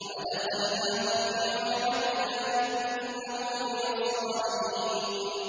وَأَدْخَلْنَاهُ فِي رَحْمَتِنَا ۖ إِنَّهُ مِنَ الصَّالِحِينَ